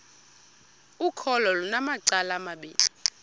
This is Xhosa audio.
ukholo lunamacala amabini